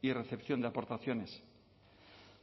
y recepción de aportaciones